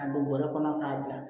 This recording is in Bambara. A don bɔrɛ kɔnɔ k'a bila